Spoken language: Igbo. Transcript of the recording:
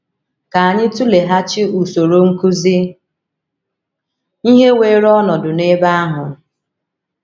Ka anyị tụleghachi usoro nkụzi ihe weere ọnọdụ n’ebe ahụ.